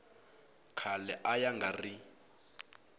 khale a ya nga ri